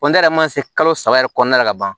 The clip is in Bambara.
n yɛrɛ man se kalo saba yɛrɛ kɔnɔna la ka ban